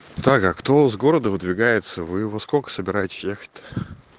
так а кто с города выдвигается вы во сколько собираетесь ехать то